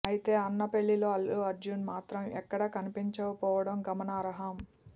అయితే అన్న పెళ్లిలో అల్లు అర్జున్ మాత్రం ఎక్కడా కనిపించకపోవడం గమనార్హం